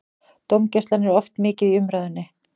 Dómgæslan er oft mikið í umræðunni.